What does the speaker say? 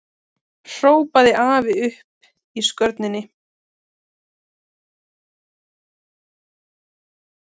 hrópaði afi uppi á skörinni.